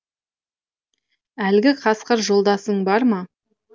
әлгі қасқыр жолдасың бар ма